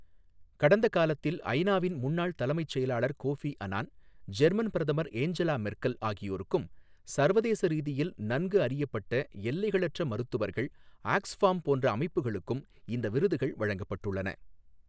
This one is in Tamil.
கடந்த காலத்தில் ஐநாவின் முன்னாள் தலைமைச் செயலாளர் கோஃபி அனான், ஜெர்மன் பிரதமர் ஏஞ்சலா மெர்க்கல் ஆகியோருக்கும் சர்வதேச ரீதியில் நன்கு அறியப்பட்ட எல்லைகளற்ற மருத்துவர்கள், ஆக்ஸ் ஃபார்ம் போன்ற அமைப்புகளுக்கும், இந்த விருதுகள் வழங்கப்பட்டுள்ளன.